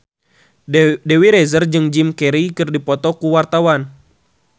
Dewi Rezer jeung Jim Carey keur dipoto ku wartawan